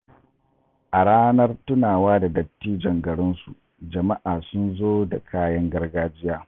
A ranar tunawa da dattijon garinsu, jama’a sun zo da kayan gargajiya.